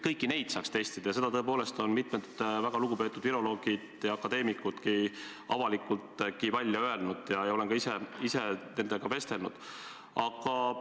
Seda on tõepoolest mitmed väga lugupeetud viroloogid ja akadeemikudki avalikult välja öelnud ja ma olen ka ise nendega vestelnud.